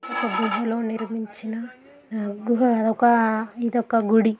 ఒక గుహ లో నిర్మించిన గుహ ఒక ఇదొక గుడి.